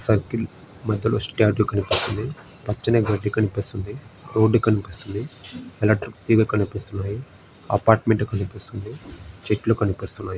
Circle మధ్యలో statue కనిపిస్తుంది. పచ్చని గడ్డి కనిపిస్తుంది. రోడ్డు కనిపిస్తుంది. ఎలక్ట్రిక్ తీగలు కనిపిస్తున్నాయి. అపార్టుమెంటు కనిపిస్తుంది. చెట్లు కనిపిస్తున్నాయి.